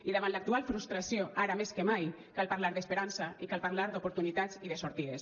i davant l’actual frustració ara més que mai cal parlar d’esperança i cal parlar d’oportunitat i de sortides